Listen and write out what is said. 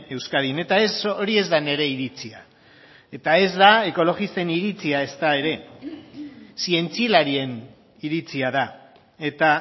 euskadin eta ez hori ez da nire iritzia eta ez da ekologisten iritzia ezta ere zientzialarien iritzia da eta